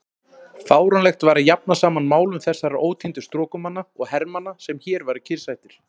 Fáránlegt væri að jafna saman málum þessara ótíndu strokumanna og hermanna, sem hér væru kyrrsettir.